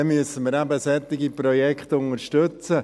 Dann müssen wir eben solche Projekte unterstützen.